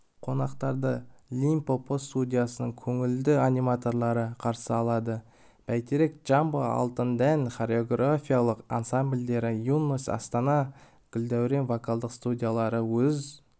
қонақтарды лим-по-по студиясының көңілді аниматорлары қарсы алады бәйтерек джамбо алтын дән хореографиялық ансамбльдері юность астаны гүлдәурен вокалдық студиялары өз